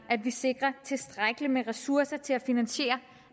vi sikrer tilstrækkeligt med ressourcer til at finansiere